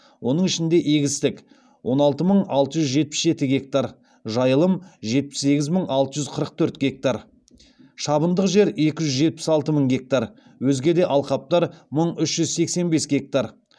оның ішінде егістік он алты мың алты жүз жетпіс жеті гектар жайылым жетпіс сегіз мың алты жүз қырық төрт гектар шабындық жер екі жүз жетпіс алты мың гектар өзге де алқаптар мың үш жүз сексен бес гектар